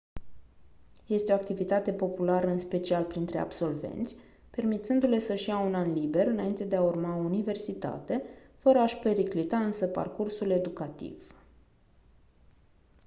este o activitate populară în special printre absolvenți permițându-le să-și ia un an liber înainte de a urma o universitate fără a-și periclita însă parcursul educativ